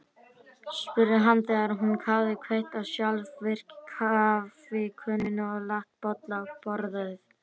spurði hann þegar hún hafði kveikt á sjálfvirku kaffikönnunni og lagt bolla á borðið.